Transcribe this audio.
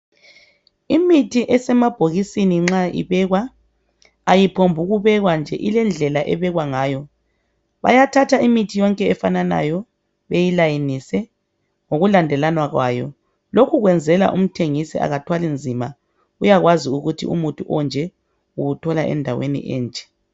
imithi esemabhokisini nxa ibekwa ayiphombu ukubekwa nje ilendlela ebekwa ngayo bayathatha imithi yonke efananayo beyilayinise ngokulandelana kwayo lokhu kwenzela umthengisi akathwali nzima uyakwazi ukuthi umuthi onje uwuthola endaweni enje